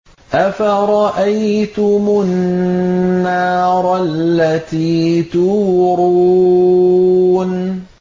أَفَرَأَيْتُمُ النَّارَ الَّتِي تُورُونَ